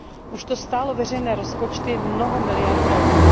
Už to stálo veřejné rozpočty mnoho miliard EUR.